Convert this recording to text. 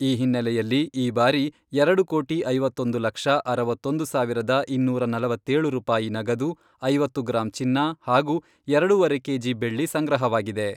ಈ ಹಿನ್ನಲೆಯಲ್ಲಿ ಈ ಬಾರಿ ಎರಡು ಕೋಟಿ, ಐವತ್ತೊಂದು ಲಕ್ಷ, ಅರವತ್ತೊಂದು ಸಾವಿರದ, ಇನ್ನೂರ ನಲವತ್ತೇಳು ರೂಪಾಯಿ ನಗದು, ಐವತ್ತು ಗ್ರಾಂ ಚಿನ್ನ ಹಾಗೂ ಎರಡೂವರೆ ಕೆಜಿ ಬೆಳ್ಳಿ ಸಂಗ್ರಹವಾಗಿದೆ.